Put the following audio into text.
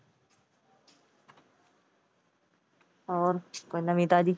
ਹੋਰ ਕੋਈ ਨਵੀ ਤਾਜ਼ੀ,